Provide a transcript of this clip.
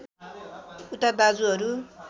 उता दाजुहरू